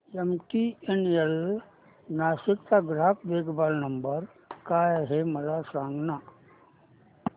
MTNL Nashik चा ग्राहक देखभाल नंबर काय आहे मला सांगाना